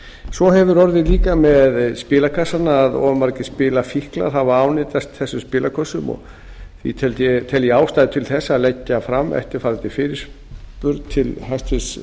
svo hefur orðið líka með spilakassana að of margir spilafíklar hafa ánetjast þessum spilakössunum og því tel ég ástæðu til þess að leggja fram eftirfarandi fyrirspurn til hæstvirts